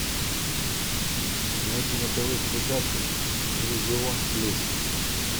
найди на тв передачу иллюзион плюс